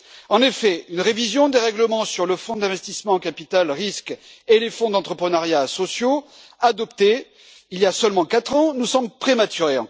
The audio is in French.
En effet, une révision des règlements sur le fonds d'investissement en capital risque et sur les fonds d'entrepreneuriat sociaux, adoptés il y a seulement quatre ans, nous semble encore prématurée.